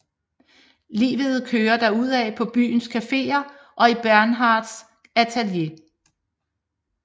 Livet kører derudaf på byens caféer og i Bernhards atelier